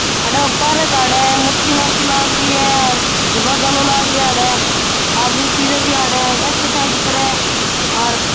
अठे ऊपर खड़े है मूर्ति मूर्ति लागरी है झूला झाला लाग रिया अठे आदमी फिरे भी अठे एक्सरसाइज करे और --